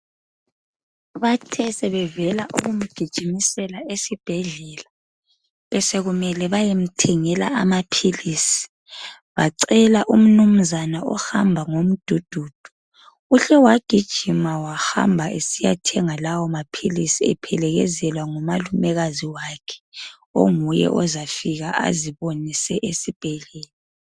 Bathe sebevela ukumgijimisela esibhedlela, besekumele bayemthengela amaphilisi. Bacela umnunzana ohamba ngomdudu. Uhle wagijima wahamba esiyathenga lawo maphilisi ephelekezelwa ngumalumekazi wakhe, onguye ozafika azibonise esibhedlela.